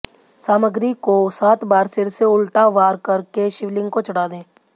सामग्री को सात बार सिर से उल्टा वार कर के शिवलिंग को चढ़ा दें